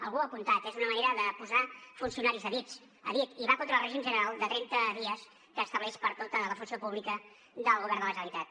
algú ho ha apuntat és una manera de posar funcionaris a dit i va contra el règim general de trenta dies que estableix per a tota la funció pública del govern de la generalitat